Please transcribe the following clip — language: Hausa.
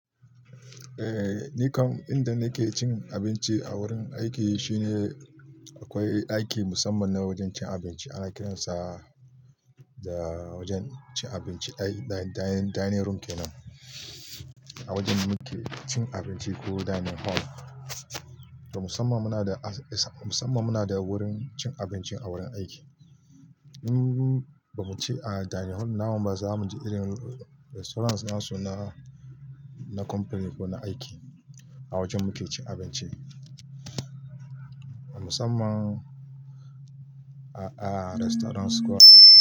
Eh, ni kam inda nake cin abinci a wurin aiki shine akwai ɗaki musamman na wajen cin abinci ana kiransa da wajen cin abinci da dining room kenan. A wajen muke cin abinci ko dining hall. Da musamman muna da wurin cin abinci a wurin aiki. Im'im ba mu ci a dining hall namu ba za mu je irin restaurants na su na company ko na aiki a wajen muke cin abinci. Musamman a restaurants ko a aiki.